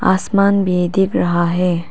आसमान भी दिख रहा है।